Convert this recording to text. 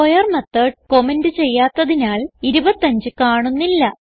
square method comment ചെയ്യാത്തതിനാൽ 25 കാണുന്നില്ല